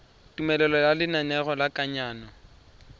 tumelelo ya lenaneo la kananyo